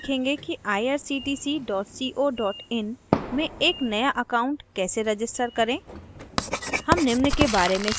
इस tutorial में हम सीखेंगे कि irctc co in में एक नया account कैसे register करें